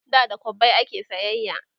da da kwabbai ake sayayya